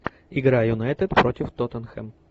игра юнайтед против тоттенхэм